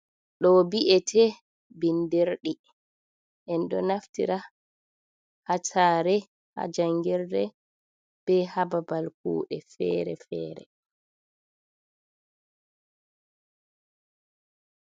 Ɗo bi’et bindirɗi l. En ɗo naftira ha sare, ha jangirde be ha babal kuɗe fere-fere.